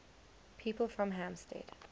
people from hampstead